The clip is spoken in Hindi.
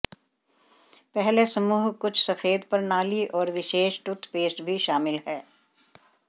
पहले समूह कुछ सफेद प्रणाली और विशेष टूथपेस्ट भी शामिल है